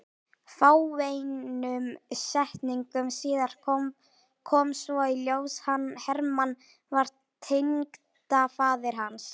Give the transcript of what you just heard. Fáeinum setningum síðar kom svo í ljós að Hermann var tengdafaðir hans.